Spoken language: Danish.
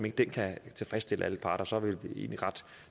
ikke den kan tilfredsstille alle parter så er vi egentlig ret